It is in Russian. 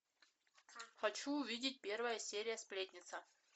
хочу увидеть первая серия сплетница